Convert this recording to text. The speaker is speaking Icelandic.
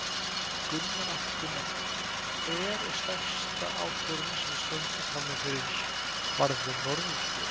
Gunnar Atli Gunnarsson: Hver er stærsta áskorunin sem við stöndum frammi fyrir varðandi Norðurslóðir?